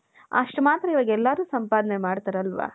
ಅಷ್ಟ್ ಮಾತ್ರ ಇವಾಗ ಎಲ್ಲರೂ ಸಂಪಾದನೆ ಮಾಡ್ತಾರ್ ಅಲ್ವ .